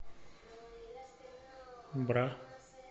бра